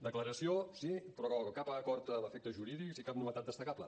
declaració sí però cap acord amb efectes jurídics i cap novetat destacable